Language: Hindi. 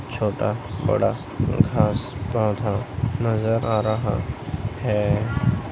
छोटा बड़ा घांस पौधा नजर आ रहा है।